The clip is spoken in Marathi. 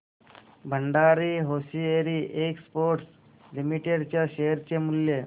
भंडारी होसिएरी एक्सपोर्ट्स लिमिटेड च्या शेअर चे मूल्य